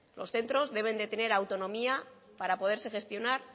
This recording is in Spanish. los centros deben de tener autonomía para poderse gestionar